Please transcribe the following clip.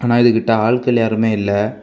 ஆனா இதுக்கிட்ட ஆள்கள் யாருமே இல்ல.